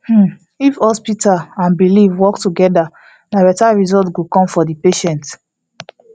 hmm if hospital and belief work together na better result go come for the patient